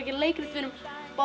gera leikrit við erum